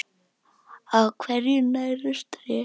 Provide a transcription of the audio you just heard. Á hverju nærast tré?